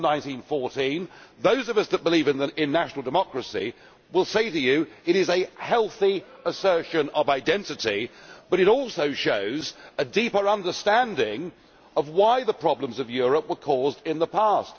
1914. Those of us that believe in national democracy will say to you it is a healthy assertion of identity, but it also shows a deeper understanding of why the problems of Europe were caused in the past.